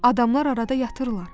Adamlar arada yatırlar.